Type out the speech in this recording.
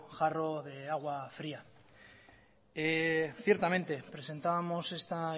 jarro de agua fría ciertamente presentábamos esta